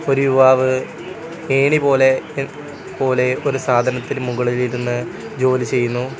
ഒരു യുവാവ് ഏണി പോലെ എ പോലെ ഒരു സാധനത്തിനു മുകളിൽ ഇരുന്ന് ജോലി ചെയ്യുന്നു.